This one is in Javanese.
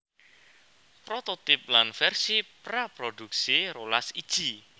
Prototip lan versi praproduksi rolas iji